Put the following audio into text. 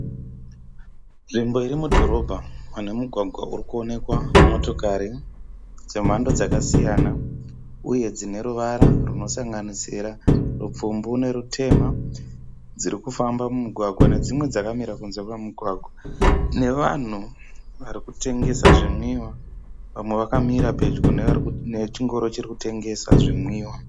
Nzvimbo irimudhorobha ine mugwagwa urikuonekwa motokari dzemhando dzakasiyana uye dzineruvara rwunosanganisira rupfumbu norutema. Dzirikufamba mumugwagwa nedzimwe dzakamira kunze kwemugwagwa. Nevanhu varikutengesa zvinwiwa nevamwe vakamira pedyo nechingoro chirikutengesa zvinwiwa.